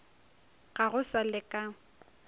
ga go sa le ka